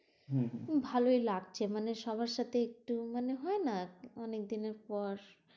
হম ভালোই লাগছে মানে, সবার সাথে একটু মানে হয় না। অনেকদিনের পর,